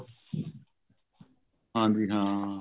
ਹਾਂਜੀ ਹਾਂ